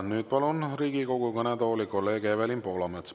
Nüüd palun Riigikogu kõnetooli kolleeg Evelin Poolametsa.